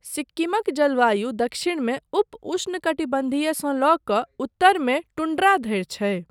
सिक्किमक जलवायु दक्षिणमे उप उष्णकटिबन्धीयसँ लऽ कऽ उत्तरमे टुंड्रा धरि छै।